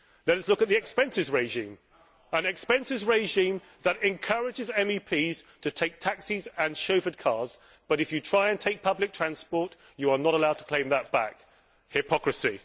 Let us look at the expenses regime an expenses regime that encourages MEPs to take taxis and chauffeured cars but if you try to take public transport, you are not allowed to claim that back hypocrisy.